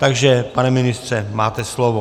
Takže, pane ministře, máte slovo.